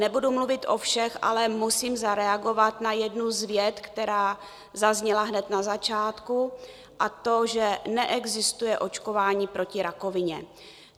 Nebudu mluvit o všech, ale musím zareagovat na jednu z vět, která zazněla hned na začátku, a to že neexistuje očkování proti rakovině.